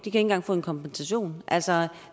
engang få en kompensation altså